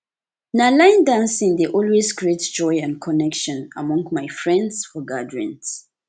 na line dancing dey always create joy and connection among my friends for gatherings